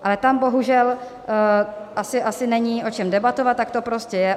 Ale tam bohužel asi není o čem debatovat, tak to prostě je.